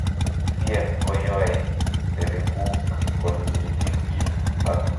CF koyoe serebuuk konyikisit ako min biik